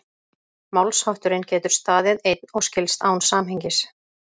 Málshátturinn getur staðið einn og skilst án samhengis.